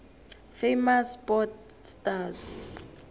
famous sport stars